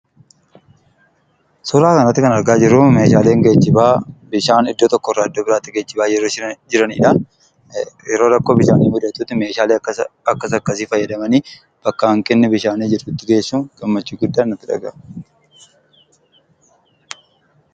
Suura kanarratti kan argaa jirru meeshaaleen geejjibaa bishaan iddoo tokkorraa iddoo biraatti geejjibaa jiru jiraniidha yeroo rakkoon bishaanii mudatuutti meeshaalle akkas akkasi fayyadamanii bakka hanqinni bishaanii jirtutti geessuu gammachuun guddaatu nutti dhagaahama.